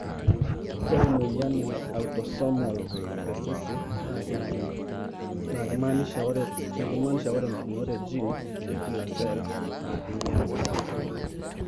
Ore emoyian e Autosomal recessive na kejungi na kimaanisha ore pukunot are e gene tekila sell na kinyiala.